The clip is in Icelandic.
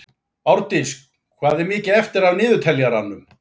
Árdís, hvað er mikið eftir af niðurteljaranum?